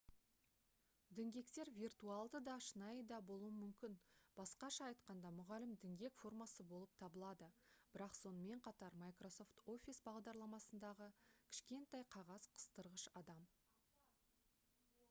діңгектер виртуалды да шынайы да болуы мүмкін басқаша айтқанда мұғалім діңгек формасы болып табылады бірақ сонымен қатар microsoft office бағдарламасындағы кішкентай қағаз қыстырғыш адам